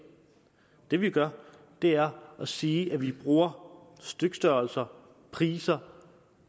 det vi gør er at sige at vi bruger stykstørrelser priser